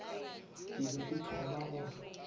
ke be ke thoma go